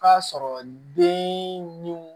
K'a sɔrɔ den ni